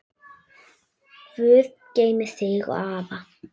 Guð geymi þig og afa.